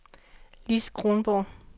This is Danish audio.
Lis Kronborg